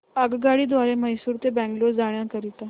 आगगाडी द्वारे मैसूर ते बंगळुरू जाण्या करीता